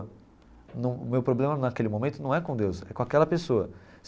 Num o meu problema naquele momento não é com Deus, é com aquela pessoa.